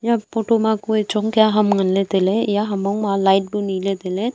photo ma kua chong kya ham ngan ley tai ley iya ham mong ma light bu ne le tailey.